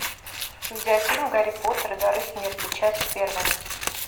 видеофильм гарри поттер и дары смерти часть первая